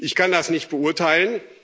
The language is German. haben. Ich kann das nicht beurteilen.